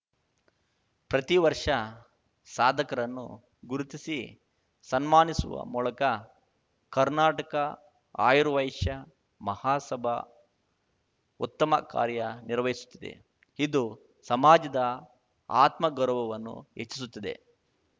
ಪ್ರತೀ ವರ್ಷ ಸಾಧಕರನ್ನು ಗುರುತಿಸಿ ಸನ್ಮಾನಿಸುವ ಮೂಲಕ ಕರ್ನಾಟಕ ಆರ್ಯವೈಶ್ಯ ಮಹಾಸಭ ಉತ್ತಮ ಕಾರ್ಯ ನಿರ್ವಹಿಸುತ್ತಿದೆ ಇದು ಸಮಾಜದ ಆತ್ಮಗೌರವವನ್ನು ಹೆಚ್ಚಿಸುತ್ತದೆ